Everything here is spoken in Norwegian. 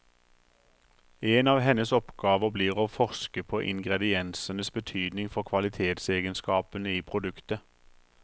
En av hennes oppgaver blir å forske på ingrediensenes betydning for kvalitetsegenskapene i produktet.